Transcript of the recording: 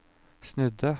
snudde